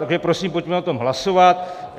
Takže prosím, pojďme o tom hlasovat.